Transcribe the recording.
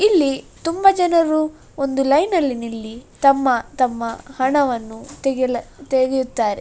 ಇಲ್ಲಿ ತುಂಬಾ ಜನರು ಒಂದು ಲೈನ್ ಅಲ್ಲಿ ನಿಲ್ಲಿ ತಮ್ಮ ತಮ್ಮ ಹಣವನ್ನು ತೆಗೆಲ್ ತೆಗೆಯುತ್ತಾರೆ.